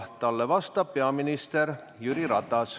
Talle vastab peaminister Jüri Ratas.